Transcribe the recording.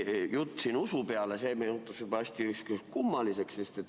See jutt, mis siin läks usu peale, muutus juba hästi kummaliseks.